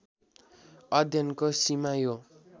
अध्ययनको सीमा यो